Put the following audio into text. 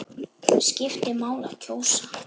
Skiptir máli að kjósa?